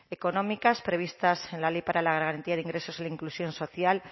económicas previstas en la ley para la garantía de ingresos y la inclusión social